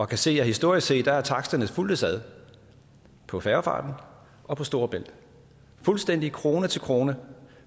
kan se at historisk set har taksterne fulgtes ad på færgefarten og på storebælt fuldstændig krone til krone